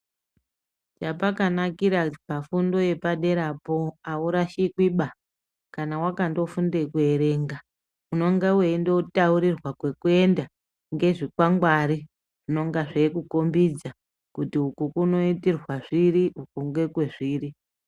Chapakanakira pafundo yepaderapo aurashikwi ba kana wakandofunde kuerenga unenge weindotaurirwa kwekuenda ngezvikwangwari zvinonga zveikukhombidza kuti uku kunoitirwa zviri uko ndekwezviri.